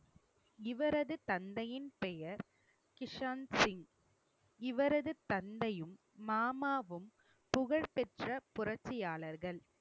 இவரது தந்தையின் பெயர் கிஷான் சிங் இவரது தந்தையும், மாமாவும் புகழ்பெற்ற புரட்சியாளர்கள்